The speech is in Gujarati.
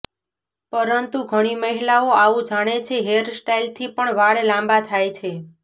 પરંતુ ઘણી મહિલાઓ આવું જાણે છે હેર સ્ટાઇલથી પણ વાળ લાંબા થાય છે